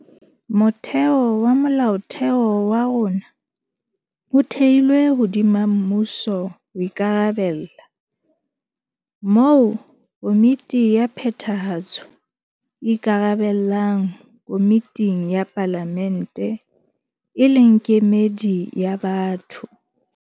Motheo wa Molaotheo wa rona o thehilwe hodima mmuso o ikarabella, moo Komiti ya Phethahatso e ikarabellang komiting ya Palamente e leng kemedi ya batho.